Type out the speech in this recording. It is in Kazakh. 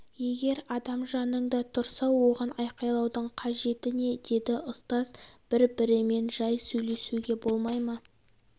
егер адам жаныңда тұрса оған айқайлаудың қажеті не деді ұстаз бір бірімен жай сөйлесуге болмай ма